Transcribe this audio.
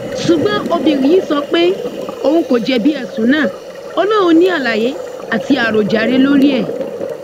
ṣùgbọn obìnrin yìí sọ pé òun kò jẹbi ẹsùn náà ò lóun ní àlàyé àti àròjàre lórí ẹ